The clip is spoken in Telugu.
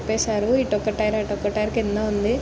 విప్పెసారు. ఇటొక టైర్ అటొక టైర్ కింద ఉంది.